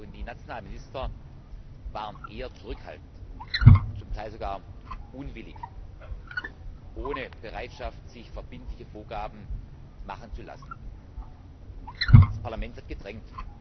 Die nationalen Minister waren eher zurückhaltend, zum Teil sogar unwillig, ohne die Bereitschaft, sich verbindliche Vorgaben machen zu lassen. Das Parlament hat gedrängt.